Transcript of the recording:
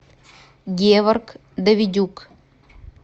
геворг давидюк